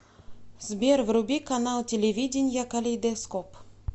сбер вруби канал телевидения калейдоскоп